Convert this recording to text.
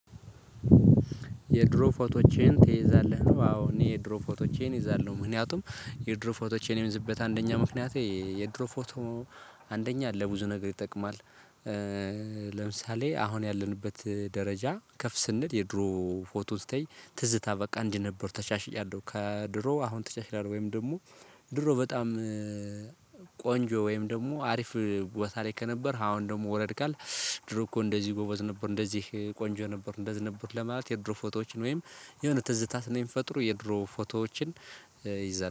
የድሮ ፎቶቼን ትይዛለህ ነው? አዎ እኔ የድሮ ፎቶቼን እይዛለሁ ምንክንያቱም የድሮ ፎቶቼን የምይዝበት አንደኛ ምክንያቴ የድሮ ፎቶ አንደኛ ለብዙ ነገር ይጠቅማል። ለምሳሌ አሁን ያለንበት ደረጃ ከፍ ስንል የድሮ ፎቶ ስተይ ትዝታ በቃ እንዲህ ነበር ተሻሽያለሁ። ከድሮ አሁን ተሻሽያለው ወይም ደግሞ ድሮ በጣም ቆንጆ ወይም ደግሞ አሪፍ ቦታ ላይ ከነበር አሁን ደግሞ ወረድ ካልክ። ድሮ እኮ እንደዚህ ጎበዝ ነበር እንደዚህ ቆንጆ ነበር እንደዚህ ነበር። ለማለት የድሮ ፎቶዎችን ወይም የሆነ ትዝታት ስለሚፈጥሩ የድሮ ፎቶዎችን እይዛለሁ